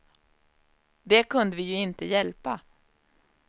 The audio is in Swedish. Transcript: Det kunde vi ju inte hjälpa.